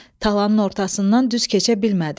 Talanın ortasından düz keçə bilmədi.